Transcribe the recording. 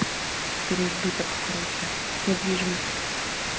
переизбыток короче недвижимость